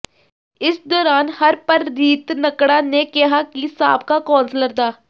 ਇਸ ਦੌਰਾਨ ਹਰਪ੍ਰਰੀਤ ਨਕੜਾ ਨੇ ਕਿਹਾ ਕਿ ਸਾਬਕਾ ਕੌਂਸਲਰ ਡਾ